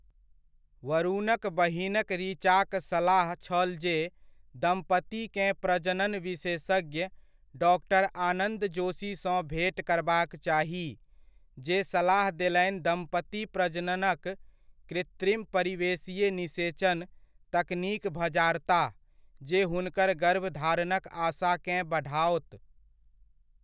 वरुणक बहिनक ऋचाक सलाह छल जे दम्पतिकेँ प्रजनन विशेषज्ञ डॉ. आनन्द जोशीसँ भेंट करबाक चाही, जे सलाह देलनि दम्पति प्रजननक 'कृत्रिम परिवेशीय निषेचन' तकनीक भजारताह, जे हुनकर गर्भधारणक आशाकेँ बढ़ाओत।